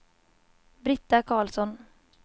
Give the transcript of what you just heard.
Britta Carlsson